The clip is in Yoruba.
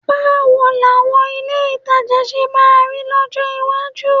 Báwo làwọn ilé ìtajà ṣe máa rí lọ́jọ́ iwájú?